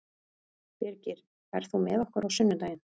Birgir, ferð þú með okkur á sunnudaginn?